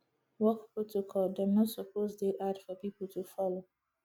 work protocol dem no suppose dey hard for pipo to folo